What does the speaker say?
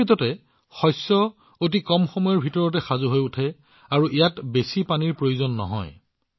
প্ৰকৃততে এই শস্য অতি কম সময়ৰ ভিতৰতে সাজু হয় আৰু ইয়াত বেছি পানীৰ প্ৰয়োজন নহয়